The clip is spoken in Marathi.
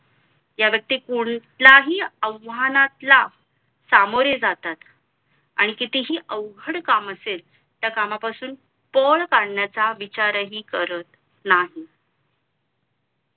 ह्या व्यक्ती कुठल्याही आव्हानांतला सामोरे जातात आणि कितीही अवघड काम असेल त्या कामापासून पळ काढण्याचा विचारही करत नाही